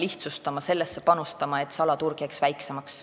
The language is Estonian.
Kui sellesse panustada, siis salaturg jääb väiksemaks.